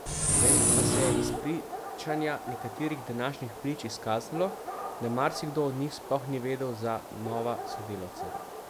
Vendar pa se je iz pričanja nekaterih današnjih prič izkazalo, da marsikdo od njih sploh ni vedel za nova sodelavca.